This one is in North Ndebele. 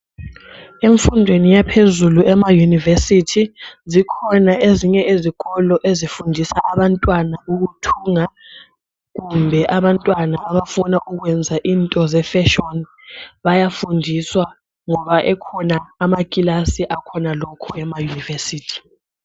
Emfundweni yaphezulu emayunivesithi zikhona ezinye izikolo ezifundisa abantwana ukuthunga kumbe abafuna ukwenza izinto ze fashion ngoba ekhona amakilasi alokho.